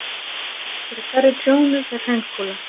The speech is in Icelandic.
Fyrir hverri trjónu fer hraunkúla.